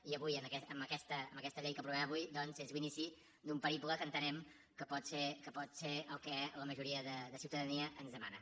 i avui amb aquesta llei que aprovem avui doncs és l’inici d’un periple que entenem que pot ser el que la majoria de ciutadania ens demana